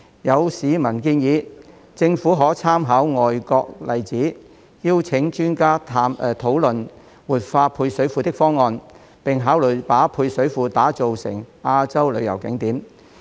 有市民建議，政府可參考外國例子，邀請專家討論活化配水庫的方案，並考慮把配水庫打造成亞洲旅遊景點。